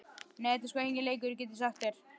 Nei, þetta er sko enginn leikur, get ég sagt þér.